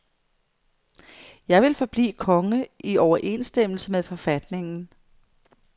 Jeg vil forblive konge i overensstemmelse med forfatningen.